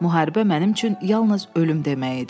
Müharibə mənim üçün yalnız ölüm demək idi.